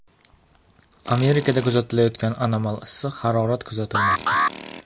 Amerikada kuzatilayotgan anomal issiq harorat kuzatilmoqda.